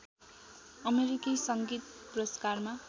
अमेरिकी सङ्गीत पुरस्कारमा